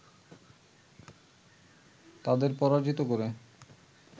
তাদের পরাজিত করে